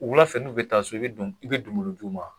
Wula fɛ nu bɛ taa so, i bɛ i bɛ donbolo duu ma wa?